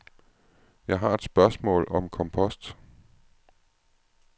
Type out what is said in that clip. Jeg har et spørgsmål om kompost.